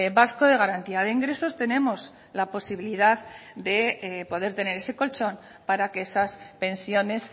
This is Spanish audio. vasco de garantía de ingresos tenemos la posibilidad de poder tener ese colchón para que esas pensiones